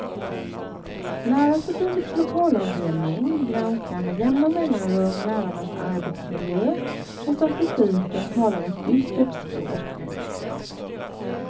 Lärarförbundets lokalavdelning granskar med jämna mellanrum lärarnas arbetsmiljö och statistiken talar ett dystert språk.